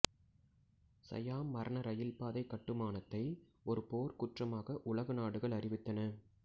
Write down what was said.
சயாம் மரண ரயில்பாதை கட்டுமானத்தை ஒரு போர்க்குற்றமாக உலக நாடுகள் அறிவித்தன